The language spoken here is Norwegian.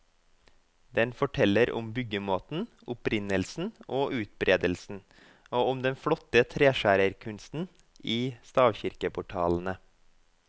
Den forteller om byggemåten, opprinnelsen og utbredelsen, og om den flotte treskjærerkunsten i stavkirkeportalene.